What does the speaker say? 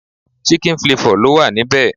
Chicken flavor lo wa níbẹ̀